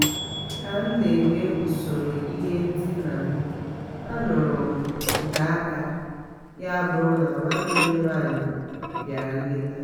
ka m na eme usoro ihe ndịna m anụrụ m ụda ụkwụ - ya bụrụ na nwanne m nwanyị bịara nleta